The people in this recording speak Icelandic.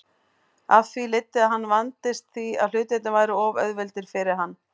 Af því leiddi að hann vandist því að hlutirnir væru of auðveldir fyrir hann.